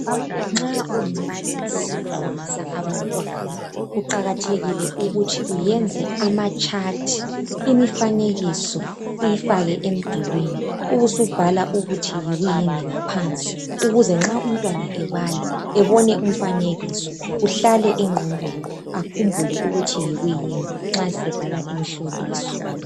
nxa ungumbalisi ufundisa abantwana kuqakathekile ukuthi uyenze ama chart ,imifanekiso uyifake emdulini ubusubhala ukuthi yikuyini ngaphansi ukuze nxa umntwana ebala ebone umfanekiso kuhlale engqondweni akhumbule ukuthi yikuyini nxa sebhala umhloliso